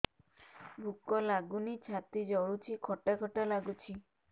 ଭୁକ ଲାଗୁନି ଛାତି ଜଳୁଛି ଖଟା ଖଟା ଲାଗୁଛି